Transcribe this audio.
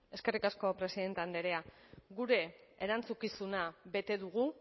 eskerrik asko presidente andrea gure erantzukizuna bete dugu